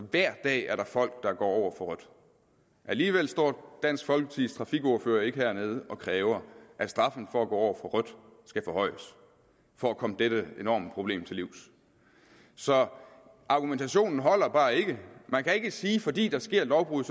hver dag er der folk der går over for rødt alligevel står dansk folkepartis trafikordfører ikke hernede og kræver at straffen for at gå over for rødt skal forhøjes for at komme dette enorme problem til livs så argumentationen holder bare ikke man kan ikke sige at fordi der sker et lovbrud